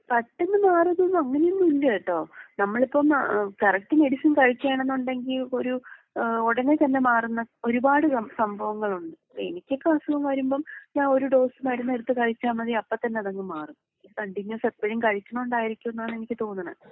പെട്ടെന്ന് മാറുന്നു അങ്ങനെ ഒന്നും ഇല്ലാ കെട്ടോ. നമ്മളിപ്പം ഏഹ് കറക്റ്റ് മെഡിസിൻ കഴിക്കാണ് എന്നുണ്ടെങ്കീ ഒരു ഏഹ് ഉടനെ തന്നേ മാറുന്ന ഒരുപാട് സംഭവങ്ങളുണ്ട്. ഇപ്പൊ എനിക്കൊക്കെ അസുഖം വരുമ്പം ഞാൻ ഒരു ഡോസ് മരുന്ന് എടുത്ത് കഴിച്ചാ മതി അപ്പൊ തന്നേ അതങ്ങ് മാറും. കണ്ടിനോസ് എപ്പഴും കഴിക്കുന്നത് കൊണ്ടായിരിക്കും എന്നാണ് എനിക്ക് തോന്നുന്നേ.